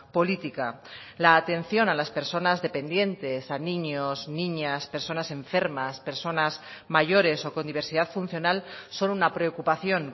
política la atención a las personas dependientes a niños niñas personas enfermas personas mayores o con diversidad funcional son una preocupación